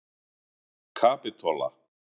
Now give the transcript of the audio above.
Kapitola